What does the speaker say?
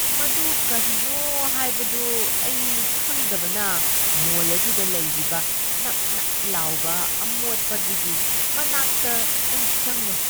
ꯃꯗꯨ ꯀꯔꯤꯅꯣ ꯍꯥꯏꯕꯗꯨ ꯑꯩ ꯈꯪꯗꯕꯅ ꯃꯣꯜ ꯑꯗꯨꯗ ꯂꯩꯔꯤꯕ ꯅꯞꯅꯞ ꯂꯥꯎꯕ ꯑꯃꯣꯠꯄ ꯑꯗꯨꯒꯤ ꯃꯅꯥꯛꯇ ꯑꯩ ꯆꯪꯂꯣꯏ꯫